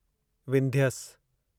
Vindhyas